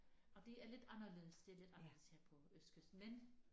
Og det er lidt anderledes det er lidt anderledes her på østkysten men